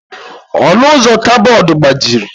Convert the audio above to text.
Ọnụ ụzọ kaboodu agbajiri.